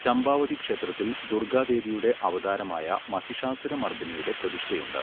ചമ്പാവതി ക്ഷേത്രത്തിൽ ദുർഗ്ഗാദേവിയുടെ അവതാരമായ മഹിഷാസുരമർദിനിയുടെ പ്രതിഷ്ഠയുണ്ട്.